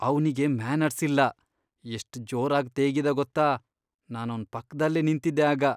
ಅವ್ನಿಗೆ ಮ್ಯಾನರ್ಸ್ ಇಲ್ಲ. ಎಷ್ಟ್ ಜೋರಾಗ್ ತೇಗಿದ ಗೊತ್ತಾ, ನಾನವ್ನ್ ಪಕ್ದಲ್ಲೇ ನಿಂತಿದ್ದೆ ಆಗ.